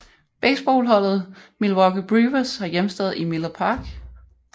Baseballholdet Milwaukee Brewers har hjemsted i Miller Park